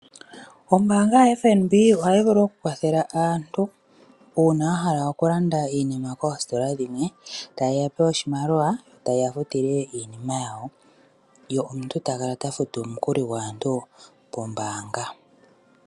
Ombaanga yaFNB ohayi vulu okukwathela aantu, uuna wahala okulanda iinima koositola dhimwe, taye ya pe oshimaliwa , yo tateya futile iinima yawo, ye omuntu takala tafutu omukuli gwaantu kombaanga.